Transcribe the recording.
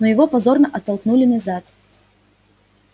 но его позорно оттолкнули назад